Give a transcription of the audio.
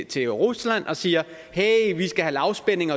til rusland og siger hey vi skal have lavspænding